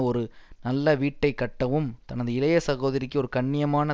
ஒரு நல்ல வீட்டை கட்டவும் தனது இளைய சகோதரிக்கு ஒரு கண்ணியமான